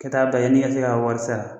Ka taa bɛn yanni i ka se k'a wari sara